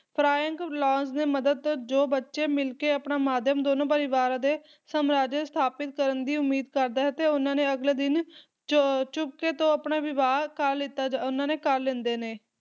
ਫਰੀਅਰ Laurence ਦੀ ਮਦਦ ਜੋ ਬੱਚੇ ਮਿਲਕੇ ਆਪਣਾ ਮਾਧਿਅਮ ਦੋਨੋ ਪਰਿਵਾਰ ਦੇ ਸਮਰਾਜਯਾ ਸਥਾਪਿਤ ਕਰਨ ਦੀ ਉਮੀਦ ਕਰਦਾ ਹੈ, ਤੇ ਉਹਨਾਂ ਨੇ ਅਗਲੇ ਦਿਨ ਚੋ ਅਹ ਚੁਪਕੇ ਤੋਂ ਆਪਣਾ ਵਿਵਾਹ ਲੀਤਾ ਉਨ੍ਹਾਂ ਨੇ ਕਰ ਲੈਂਦੇ ਨੇ